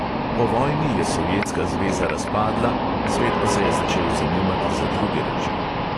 Po vojni je sovjetska zveza razpadla, svet pa se je začel zanimati za druge reči.